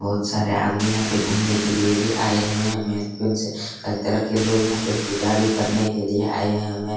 बहुत सारे आदमी यहाँ पे घुमने के लिए भी आये हुए है से कई तरह के लोग भी यहाँ पे पुजा करने के लिए आए हुए है।